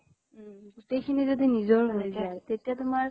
উম । গোতেইখিনি যদি নিজৰ মনে খাই, তেতিয়া তোমাৰ